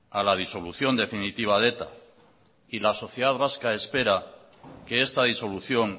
a la disolución definitiva de eta y la sociedad vasca espera que esta disolución